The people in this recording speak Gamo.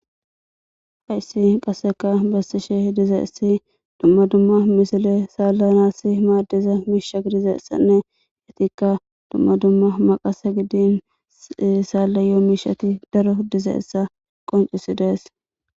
hayssi qasseka bassishe dizaessi dumma dumma misile saalla nassi maaddeza miisha gi dizeessanne etikka dumma dumma maqase gidin saalla yoo miishati daro dizeessa qoncisi dees